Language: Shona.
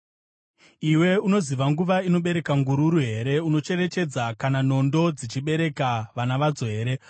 “Iwe unoziva nguva inobereka ngururu here? Unocherechedza kana nondo dzichibereka vana vadzo here?